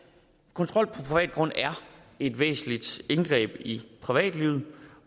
kontrol på privat grund er et væsentligt indgreb i privatlivet